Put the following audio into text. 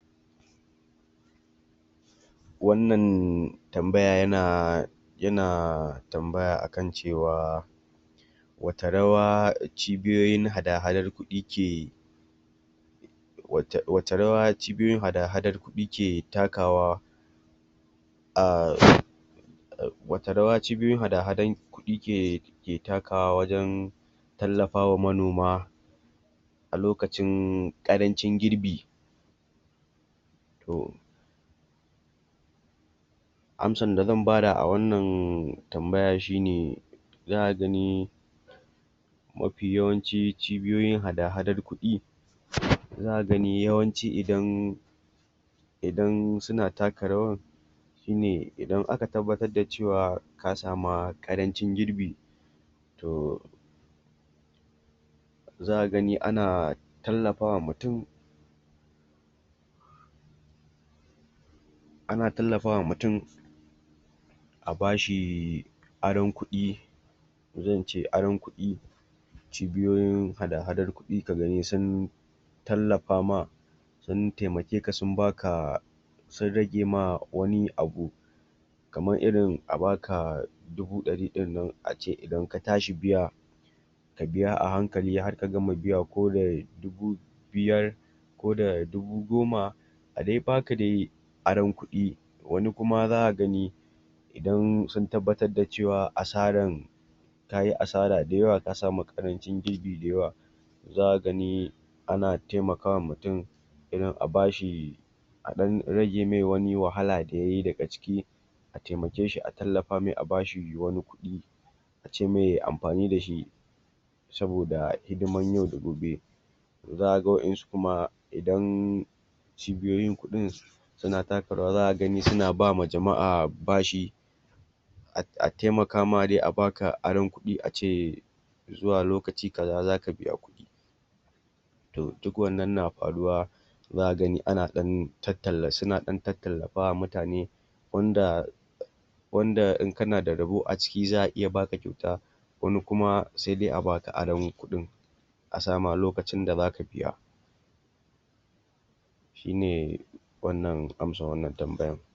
Wannan tambaya yana yana tambaya akana cewa watta rawa cibiyoyin hadahadan kuɗi ke wacce rawa cibiyoyin hadahadan kuɗi ke takawa ahhh wacce rawa cibiyoyin hadahadan kuɗi ke takawa wajen tallafawa manoma, a lokacin ƙarancin girbi? To, amsar da zan bada a wannan tambayan shine za'a gani mafi yawanci cibiyoyin hadahadar kuɗi, zaka gani yawanci idan idan suna taka rawar shine idan aka tabbatar da cewa ka sama ƙarancin girbi to, zaka gani ana tallafawa mutum, ana tallafawa mutum a bashi aron kuɗi zan ce aro kuɗi, cibiyoyin hadahadar kuɗi ka gani sun tallafama sun taimakeka sun baka sun ragema wani abu kaman irin a baka dubu ɗari ɗinnan ace idan ka tashi biya ka biya a hankali har ka gama biya ko da dubu biyar, ko da dubu goma, a dai baka dai aron kuɗi, wani kuma za ka gani idan sun tabbatar da cewa asaran tayi asara da yawa ka samu ƙarancin girbi da yawa za ka gani ana taimakawa mutum irin a bashi a ɗan rage mai wani wahala da yayi daga ciki a taimake shi a tallafa mai a bashi wani kuɗi a ce mai yai amfani da shi saboda hidiman yau da gobe. To za ka ga wa'yansu kuma idan cibiyoyin kuɗin suna taka rawa zaka gani suna ba ma jama'a bashi a taimakama dai a baka aron kuɗi ace zuwa loakci guda zaka biya kuɗi. To duk wannan na faruwa zakla gani suna ɗan tattallafawa mutane wanda in kana da rabo a ciki za'a iya baka kyauta wani kuma sai dai a baka aron kuɗin, a sa ma lokacion da zaka biya. Shine wannan amsdar wannan tanbayan.